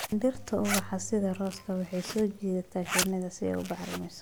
Dhirta ubaxa sida rose-ka waxay soo jiitaan shinnida si ay u bacrimiso.